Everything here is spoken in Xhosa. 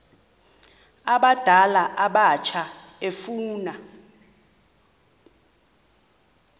abadala abatsha efuna